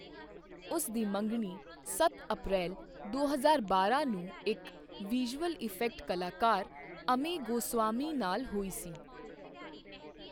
ਉਸ ਦੀ ਮੰਗਣੀ ਸੱਤ ਅਪ੍ਰੈਲ ਦੋ ਹਜ਼ਾਰ ਬਾਰਾਂ ਨੂੰ ਇੱਕ ਵਿਜ਼ੂਅਲ ਇਫੈਕਟ ਕਲਾਕਾਰ ਅਮੈ ਗੋਸਾਵੀ ਨਾਲ ਹੋਈ ਸੀ।